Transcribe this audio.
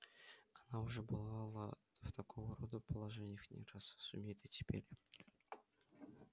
она уже бывала в такого рода положениях не раз сумеет и теперь